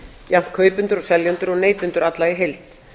jafnt kaupendur og seljendur og neytendur alla í heild